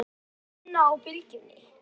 Og vinna á Bylgjunni?